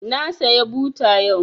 Na saya buta yau